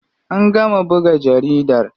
An gama buga jaridar.